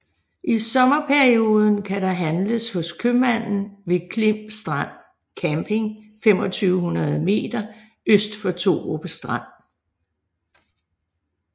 I sommerperioden kan der handles hos købmanden ved Klim Strand Camping 2500 meter øst for Thorup Strand